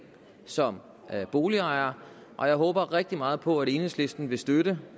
som boligejere og jeg håber rigtig meget på at enhedslisten vil støtte